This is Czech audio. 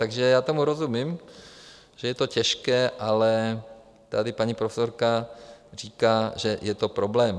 Takže já tomu rozumím, že je to těžké, ale tady paní profesorka říká, že je to problém.